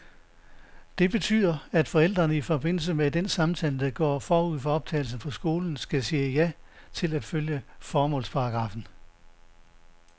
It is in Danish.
Det betyder, at forældrene i forbindelse med den samtale, der går forud for optagelse på skolen, skal sige ja til at følge formålsparagraffen.